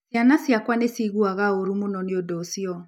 Ciana ciakwa nĩ ciaiguaga ũũru mũno nĩ ũndũ ũcio.